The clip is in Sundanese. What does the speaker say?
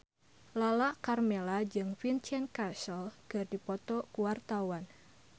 Lala Karmela jeung Vincent Cassel keur dipoto ku wartawan